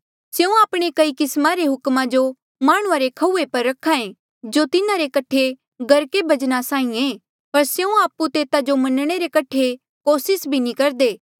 स्यों आपणे कई किस्मा रे हुकमा जो माह्णुं रे खऊये पर रख्हा ऐें जो तिन्हारे कठे गर्के बजना साहीं आ पर स्यों आपु तेता जो मनणे रे कठे कोसिस भी नी करदे